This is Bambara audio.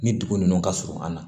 Ni dugu ninnu ka surun an na